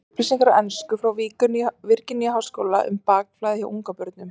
Upplýsingar á ensku frá Virginíu-háskóla um bakflæði hjá ungbörnum.